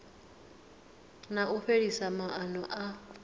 na u fhelisa maana a